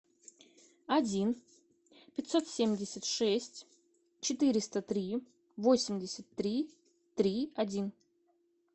один пятьсот семьдесят шесть четыреста три восемьдесят три три один